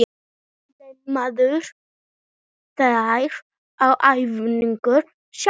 Laumarðu þér á æfingar sjálfur?